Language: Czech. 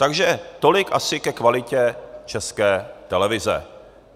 Takže tolik asi ke kvalitě České televize.